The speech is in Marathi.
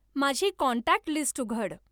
माझी कॉन्टॅक्ट लिस्ट उघड